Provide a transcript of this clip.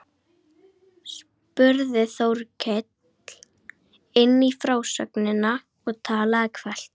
spurði Þórkell inn í frásögnina og talaði hvellt.